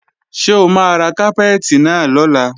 Ṣé o máa ra kápẹ́ẹ̀tì náà lọ́la?